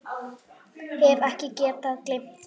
Hef ekki getað gleymt því.